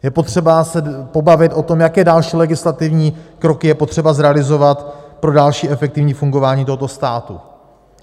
Je potřeba se pobavit o tom, jaké další legislativní kroky je potřeba zrealizovat pro další efektivní fungování tohoto státu.